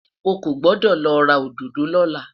ọkọ gbọdọ lo ra òdodo lola